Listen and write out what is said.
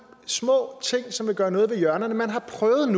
små ting som vil gøre noget ved hjørnerne man har prøvet